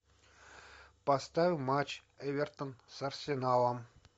поставь матч эвертон с арсеналом